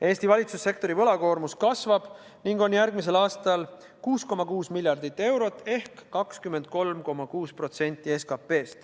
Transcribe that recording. Eesti valitsussektori võlakoormus kasvab ning on järgmisel aastal 6,6 miljardit eurot ehk 23,6% SKP-st.